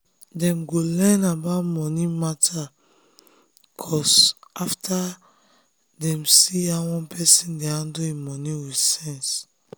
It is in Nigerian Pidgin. dem go learn about money matter course after dem see how one person dey handle him money with sense.